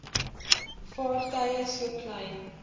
vaartuie so klein